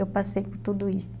Eu passei por tudo isso.